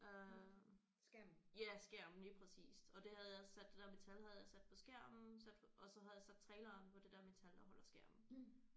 Øh ja skærmen lige præcist og det havde jeg sat det der metal havde jeg sat på skærmen sat og så havde jeg sat traileren på det der metal der holder skærmen